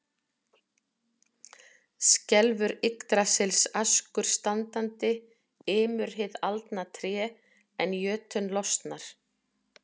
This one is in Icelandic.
Skelfur Yggdrasils askur standandi, ymur hið aldna tré, en jötunn losnar.